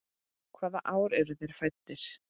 Hvaða ár eru þeir fæddir?